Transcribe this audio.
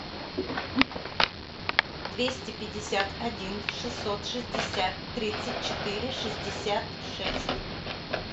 двести пятьдесят один шестьсот шестьдесят тридцать четыре шестьдесят шесть